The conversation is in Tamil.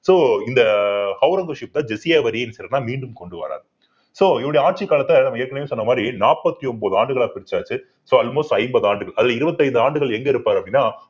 so இந்த ஒளரங்கசீப் ஜிஸியா வரிய மீண்டும் கொண்டு வர்றார் so இவருடைய ஆட்சிக் காலத்த நம்ம ஏற்கனவே சொன்ன மாதிரி நாப்பத்தி ஒன்பது ஆண்டுகளா பிரிச்சாச்சு so almost ஐம்பது ஆண்டுகள் அதுல இருபத்தைந்து ஆண்டுகள் எங்க இருப்பார் அப்படின்னா